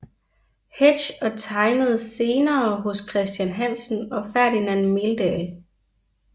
Hetsch og tegnede senere hos Christian Hansen og Ferdinand Meldahl